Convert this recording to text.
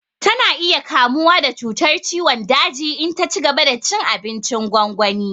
Tana iya kamuwa da cutar ciwon daji in ta cigaba da cin abincin gwangwani